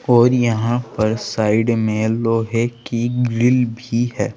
और यहां पर साइड में लोहे की ग्रिल भी है।